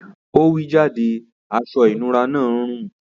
Ọ̀ wí jádẹ̀ àṣọ-ìnúrà náà ń rún.